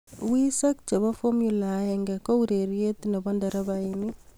wiseek che bo Formula 1 ko urerie ne bo nderabaini.